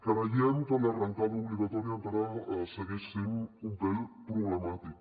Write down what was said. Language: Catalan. creiem que l’arrencada obligatòria encara segueix sent un pèl problemàtica